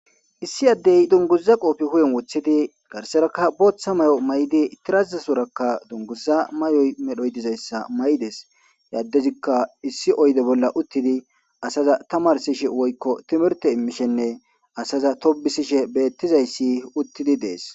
Issi adde dunguza qophe huphen wothidi garsarakka boththa mayo maydi tirasozarakka dunguza mayo medhoyi dizayissa mayidees. He adezikka issi oyyide bolla uttide asaza tamarsishe woykko timirtte imishenne asaza tobbsishe bethizayasi uthidi dees.